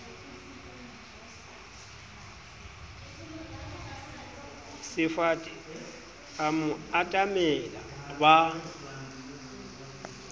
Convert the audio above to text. sefate a mo atamela ba